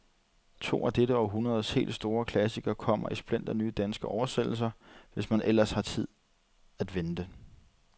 To af dette århundredes helt store klassikere kommer i splinternye, danske oversættelser, hvis man ellers har tid at vente.